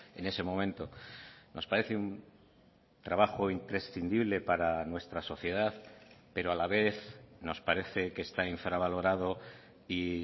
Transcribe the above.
en ese momento nos parece un trabajo imprescindible para nuestra sociedad pero a la vez nos parece que está infravalorado y